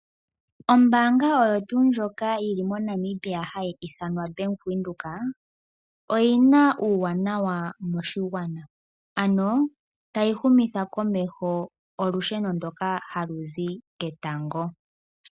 Ombaanga oyo tuu ndjoka yi li moNamibia hayi ithanwa Bank Windhoek , oyi na uuwanawa moshigwana ano tayi humitha komeho olusheno ndoka ha lu zi ketango.